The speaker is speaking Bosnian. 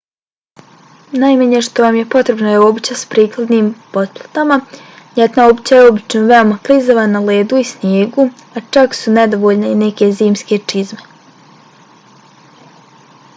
najmanje što vam je potrebno je obuća s prikladnim potplatama. ljetna obuća je obično veoma klizava na ledu i snijegu a čak su nedovoljne i neke zimske čizme